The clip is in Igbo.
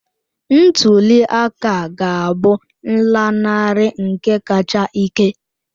Ntuli aka a ga-abụ nlanarị nke kacha ike